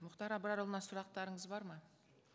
мұхтар абрарұлына сұрақтарыңыз бар ма